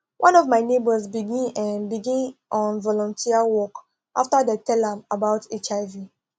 one of my neighbors begin um begin um volunteer work after dem tell am about hiv